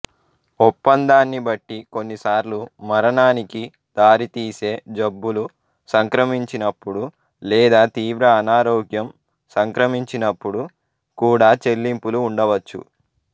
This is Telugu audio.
ఒప్పందాన్ని బట్టి కొన్నిసార్లు మరణానికి దారితీసే జబ్బులు సంక్రమించినపుడు లేదా తీవ్ర అనారోగ్యం సంక్రమించినపుడు కూడా చెల్లింపులు ఉండవచ్చు